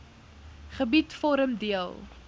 gebied vorm deel